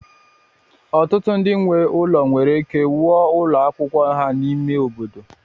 Ọtụtụ ndị nwe ụlọ nwere ike wuo ụlọ akwụkwọ ha n'ime obodo